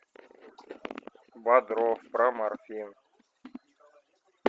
бодров про морфин